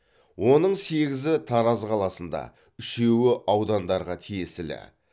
оның сегізі тараз қаласында үшеуі аудандарға тиесілі